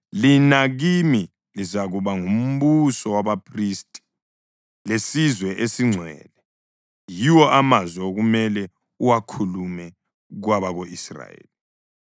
lina kimi lizakuba ngumbuso wabaphristi lesizwe esingcwele.’ Yiwo amazwi okumele uwakhulume kwabako-Israyeli.”